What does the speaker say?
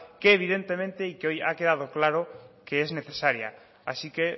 que evidentemente y que hoy ha quedado claro que es necesaria así que